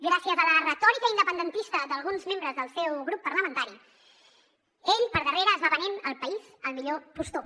gràcies a la retòrica independentista d’alguns membres del seu grup parlamentari ell per darrere es va venent el país al millor postor